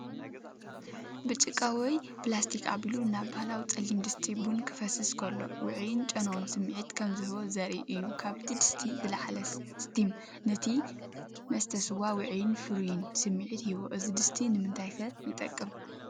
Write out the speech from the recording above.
ብጭቃ ወይ ፕላስቲክ ኣቢሉ ናብ ባህላዊ ጸሊም ድስቲ ቡን ክፈስስ ከሎ፡ ውዑይን ጨናውን ስምዒት ከም ዝህቦ ዘርኢ እዩ። ካብቲ ድስቲ ዝለዓል ስቲም ነቲ መስተ ስዋ ውዑይን ፍሩይን ስምዒት ይህቦ። እዚ ድስቲ ንምንታይ ከ ይጠቅም ?